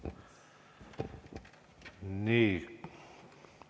Nii.